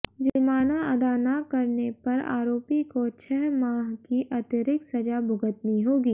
जुर्माना अदा न करने पर आरोपी को छह माह की अतिरिक्त सजा भुगतनी होगी